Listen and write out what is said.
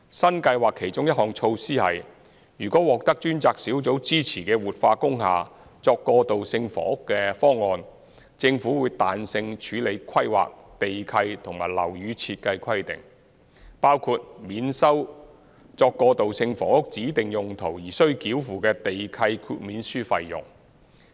新計劃其中一項措施是，如獲專責小組支持的活化工廈作過渡性房屋的方案，政府會彈性處理規劃、地契和樓宇設計規定，包括免收作過渡性房屋指定用途而須繳付的地契豁免書費用。